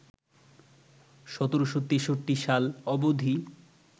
১৭৬৩ সাল অবধি